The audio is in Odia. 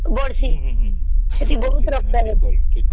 ବାଡ଼ିଛି ବହୁତ ମାତ୍ର ରେ